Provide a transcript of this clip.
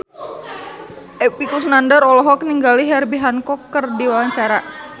Epy Kusnandar olohok ningali Herbie Hancock keur diwawancara